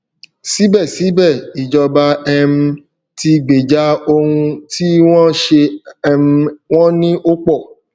sibesibe ìjọba um tí gbeja ohun tí wọn ṣe um wọn ní opo